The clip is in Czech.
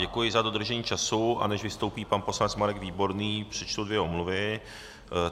Děkuji za dodržení času, a než vystoupí pan poslanec Marek Výborný, přečtu dvě omluvy.